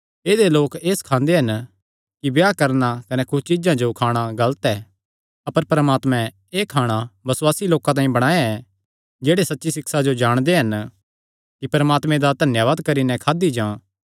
ऐदेय लोक एह़ सखांदे हन कि ब्याह करणा कने कुच्छ चीज्जां जो खाणा गलत ऐ अपर परमात्मे एह़ खाणा बसुआसी लोकां तांई बणाया ऐ जेह्ड़े सच्ची सिक्षा जो जाणदे हन कि परमात्मे दा धन्यावाद करी नैं खादी जां